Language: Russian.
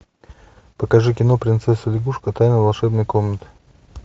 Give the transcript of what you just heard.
покажи кино принцесса лягушка тайна волшебной комнаты